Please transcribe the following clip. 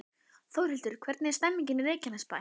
Þórhildur, hvernig er stemningin í Reykjanesbæ?